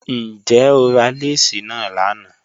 Njẹ́ o rà lẹ́sí na lánà?